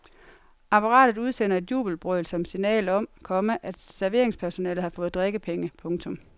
Apparatet udsender et jubelbrøl som signal om, komma at serveringspersonalet har fået drikkepenge. punktum